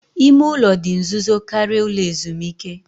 Ime ụlọ dị nzuzo karịa ụlọ ezumike